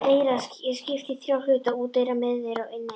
Eyra er skipt í þrjá hluta: úteyra, miðeyra og inneyra.